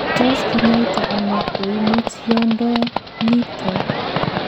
Tot kinyaita ono koimutiondoniton?